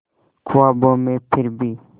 ख्वाबों में फिर भी